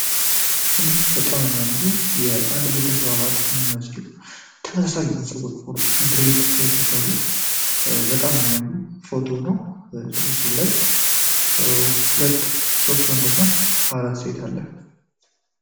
እንዲህ በጣም የሚያምሩ የአንድ ቤተሰብ አባል የሚመስሉ ተመሳሳይ ፀጉር ድሬድ የተሰሩ በጣም የሚያምር ፎቶ ነው በምስሉ ላይ ሁለት ወንድ እና አራት ሴት አለ።